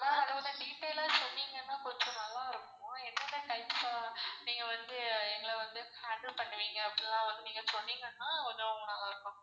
Detail ஆ சொன்னிங்கனா கொஞ்சம் நல்லார்க்கும் என்னென்ன types ஆ நீங்க வந்து எங்கள வந்து handle பண்ணுவிங்க அப்டிலாம் வந்து நீங்க சொன்னிங்கனா கொஞ்சம் நல்லார்க்கும் ma'am